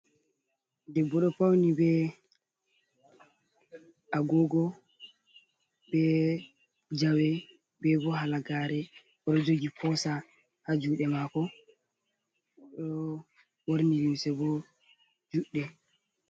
Debbo ɗo pauni be agogo, be jawe, be bo halagaare. O ɗo jogi pesa haa juuɗe mako. O ɗo ɓorni limse bo juɗɗe